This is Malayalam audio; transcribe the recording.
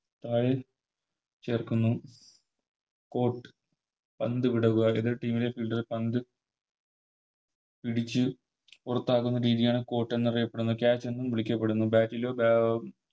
താഴെ ചേർക്കുന്നു Cott പന്ത് വിടുക എതിർ Team ലെ പന്ത് Fielder പിടിച്ച് പുറത്താക്കുന്ന രീതിയാണ് Cott എന്നറിയപ്പെടുന്നത് Cat എന്നും വിളിക്കപ്പെടുന്നു